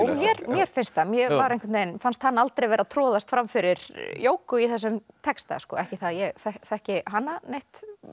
mér finnst það mér fannst hann aldrei vera að troðast fram fyrir Jógu í þessum texta ekki það að ég þekki hana neitt